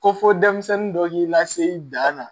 Ko fɔ denmisɛnnin dɔ k'i lase i dan na